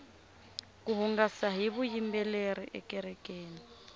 ku hungasa hi vuyimbeleri ekerekeni